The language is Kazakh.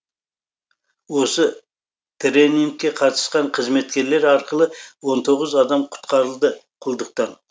осы тренингке қатысқан қызметкерлер арқылы он тоғыз адам құтқарылды құлдықтан